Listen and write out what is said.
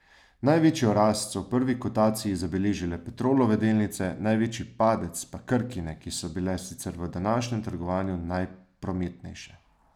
Največjo rast so v prvi kotaciji zabeležile Petrolove delnice, največji padec pa Krkine, ki so bile sicer v današnjem trgovanju najprometnejše.